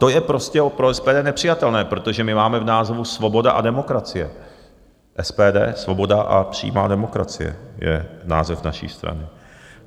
To je prostě pro SPD nepřijatelné, protože my máme v názvu Svoboda a demokracie, SPD, Svoboda a přímá demokracie je název naší strany.